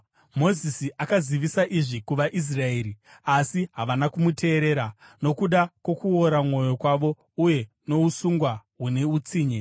Mozisi akazivisa izvi kuvaIsraeri, asi havana kumuteerera nokuda kwokuora mwoyo kwavo uye nousungwa hune utsinye.